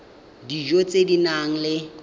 dijo tse di nang le